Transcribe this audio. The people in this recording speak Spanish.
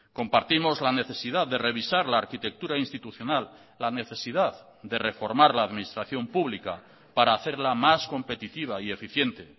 compartimos la necesidad de revisar la arquitectura institucional la necesidad de reformar la administración pública para hacerla más competitiva y eficiente